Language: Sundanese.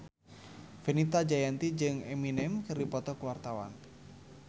Fenita Jayanti jeung Eminem keur dipoto ku wartawan